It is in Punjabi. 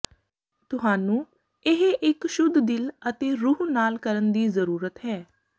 ਤੁਹਾਨੂੰ ਇਹ ਇੱਕ ਸ਼ੁੱਧ ਦਿਲ ਅਤੇ ਰੂਹ ਨਾਲ ਕਰਨ ਦੀ ਜ਼ਰੂਰਤ ਹੈ